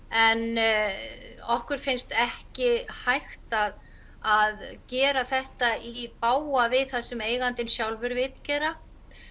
en okkur finnst ekki hægt að að gera þetta í bága við það sem eigandinn sjálfur vill gera